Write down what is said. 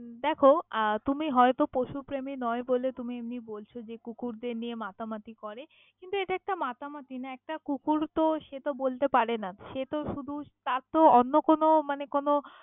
দেখো তুমি হয়তো পশুপ্রেমী নয় বলে তুমি এমনি বলছ যে কুকুরদের নিয়ে মাতামাতি করে কিন্তু এটা একটা মাতামাতি না একটা কুকুর হ্যাঁ বল সে তো বলতে পারেনা সেত শুধু তার তো অন্য কোনও মানে কোনও।